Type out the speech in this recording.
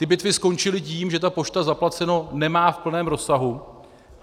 Ty bitvy skončily tím, že ta pošta zaplaceno nemá v plném rozsahu.